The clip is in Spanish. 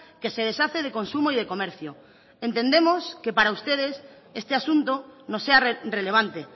que se deshace de consumo y de comercio entendemos que para ustedes este asunto no sea relevante